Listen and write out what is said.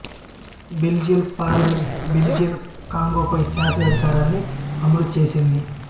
Belgian parliament Belgian కాంగోపై శాసన అధికారాన్ని అమలు చేసింది